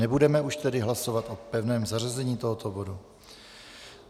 Nebudeme už tedy hlasovat o pevném zařazení tohoto bodu.